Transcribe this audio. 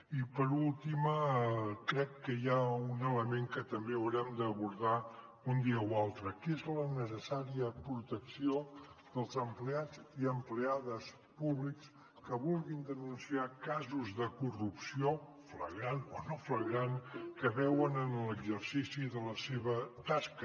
i per últim crec que hi ha un element que també haurem d’abordar un dia o altre que és la necessària protecció dels empleats i empleades públics que vulguin denunciar casos de corrupció flagrant o no flagrant que veuen en l’exercici de la seva tasca